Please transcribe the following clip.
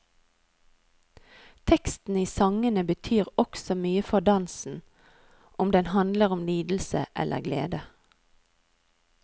Teksten i sangene betyr også mye for dansen, om den handler om lidelse eller glede.